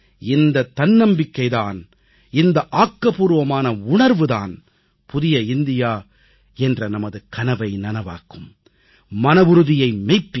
இந்த தன்னம்பிக்கை தான் இந்த ஆக்கப்பூர்வமான உணர்வு தான் புதிய இந்தியா என்ற நமது கனவை நனவாக்கும் மனவுறுதியை மெப்பிக்கும்